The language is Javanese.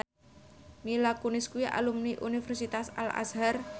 Mila Kunis kuwi alumni Universitas Al Azhar